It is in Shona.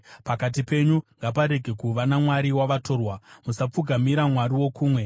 Pakati penyu ngaparege kuva namwari wavatorwa, musapfugamira mwari wokumwe.